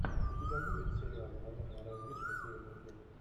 у тебя будет сериал военная разведка северный флот